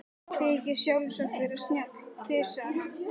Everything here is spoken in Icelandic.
Þykist sjálfsagt vera snjall, þusaði hann.